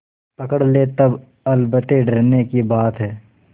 पकड़ ले तब अलबत्ते डरने की बात है